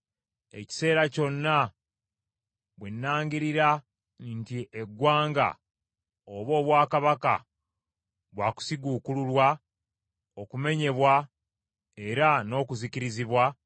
Ekiseera kyonna bwe nnangirira nti eggwanga oba obwakabaka bwa kusiguukululwa, okumenyebwa era n’okuzikirizibwa,